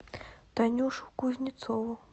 танюшу кузнецову